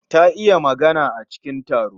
Ta iya magana a cikin taro